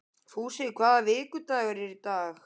Fúsi, hvaða vikudagur er í dag?